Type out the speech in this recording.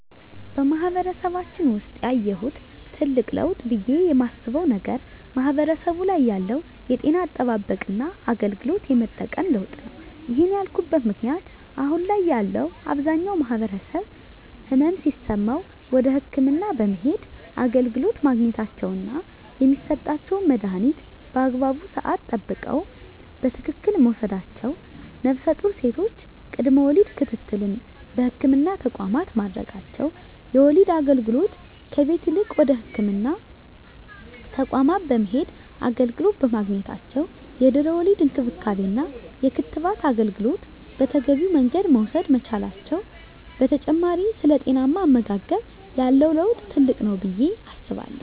በማህበረሰባችን ውሰጥ ያየሁት ትልቅ ለውጥ ብየ የማስበው ነገር ማህበረሰቡ ላይ ያለው የጤና አጠባበቅና አገልግሎት የመጠቀም ለውጥ ነው። ይህን ያልኩበት ምክንያት አሁን ላይ ያለው አብዛኛው ማህበረሰብ ህመም ሲሰማው ወደ ህክምና በመሄድ አገልግሎት ማግኘታቸውና የሚሰጣቸውን መድሀኒት በአግባቡ ስዓት ጠብቀው በትክክል መውሰዳቸው ነፍሰጡር ሴቶች ቅድመ ወሊድ ክትትል በህክምና ተቋማት ማድረጋቸው የወሊድ አገልግሎት ከቤት ይልቅ ወደ ህክምና ተቋማት በመሄድ አገልግሎት በማግኘታቸው የድህረ ወሊድ እንክብካቤና የክትባት አገልግሎት በተገቢው መንገድ መውሰድ መቻላቸው በተጨማሪ ስለ ጤናማ አመጋገብ ያለው ለውጥ ትልቅ ነው ብየ አስባለሁ።